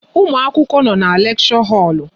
Ụmụ akwụkwọ nọ n'leksho holu